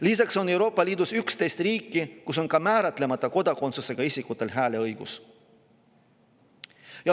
Lisaks on Euroopa Liidus 11 riiki, kus on ka määratlemata kodakondsusega isikutel hääleõigus.